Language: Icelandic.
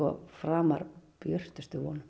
framar björtustu vonum